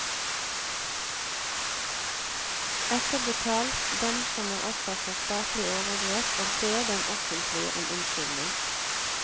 Etterbetal dem som er offer for statlig overgrep, og be dem offentlig om unnskyldning.